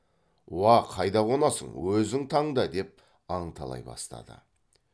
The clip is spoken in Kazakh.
уа қайда қонасың өзің таңда деп аңталай бастады